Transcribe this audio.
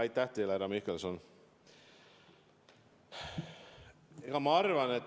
Aitäh teile, härra Mihkelson!